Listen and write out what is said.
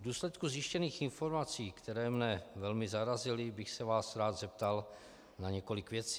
V důsledku zjištěných informací, které mě velmi zarazily, bych se vás rád zeptal na několik věcí.